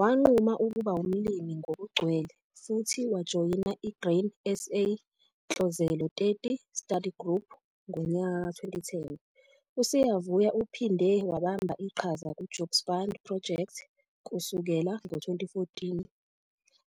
Wanquma ukuba umlimi ngokugcwele futhi wajoyina i-Grain SA Ntlozelo 30 Study Group ngo-2010. USiyavuya uphinde wabambe iqhaza ku-Jobs Fund Project kusukela ngo-2014